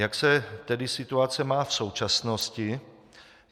Jak se tedy situace má v současnosti?